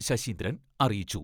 ശശീന്ദ്രൻ അറിയിച്ചു.